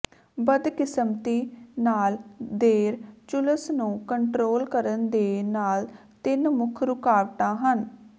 ਬਦਕਿਸਮਤੀ ਨਾਲ ਦੇਰ ਝੁਲਸ ਨੂੰ ਕੰਟਰੋਲ ਕਰਨ ਦੇ ਨਾਲ ਤਿੰਨ ਮੁੱਖ ਰੁਕਾਵਟਾਂ ਹਨ